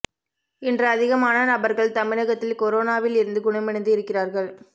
இன்று அதிகமான நபர்கள் தமிழகத்தில் கொரோனாவில் இருந்து குணமடைந்து இருக்கிறார்கள்